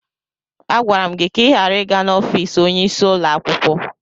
Agwara m gị ka ị ghara ịga n'ọfiisi onyeisi ụlọ akwụkwọ!